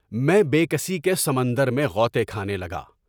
میں بے کسی کے سمندر میں غوطے کھانے لگا۔